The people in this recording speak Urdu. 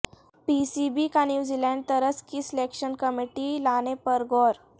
پی سی بی کا نیوزی لینڈ طرز کی سلیکشن کمیٹی لانے پر غور